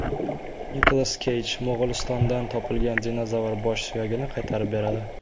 Nikolas Keyj Mo‘g‘ulistondan topilgan dinozavr bosh suyagini qaytarib beradi.